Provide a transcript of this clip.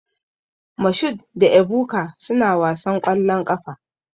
Mashood da Ebuka suna wasan ƙwallon ƙafa.